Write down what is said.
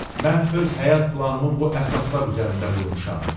Mən öz həyat planımı bu əsaslar üzərində qurmuşam.